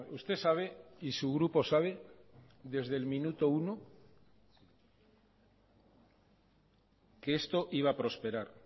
usted sabe y su grupo sabe desde el minuto uno que esto iba a prosperar